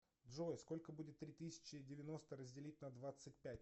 джой сколько будет три тысячи девяносто разделить на двадцать пять